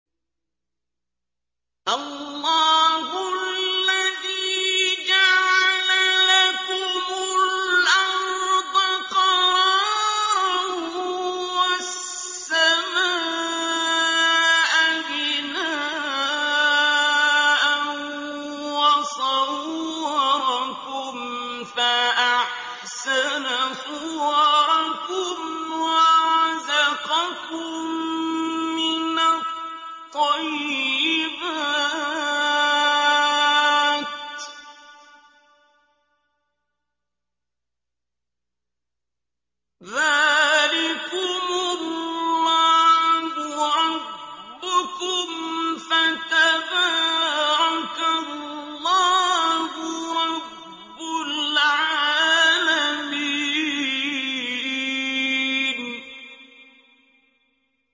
اللَّهُ الَّذِي جَعَلَ لَكُمُ الْأَرْضَ قَرَارًا وَالسَّمَاءَ بِنَاءً وَصَوَّرَكُمْ فَأَحْسَنَ صُوَرَكُمْ وَرَزَقَكُم مِّنَ الطَّيِّبَاتِ ۚ ذَٰلِكُمُ اللَّهُ رَبُّكُمْ ۖ فَتَبَارَكَ اللَّهُ رَبُّ الْعَالَمِينَ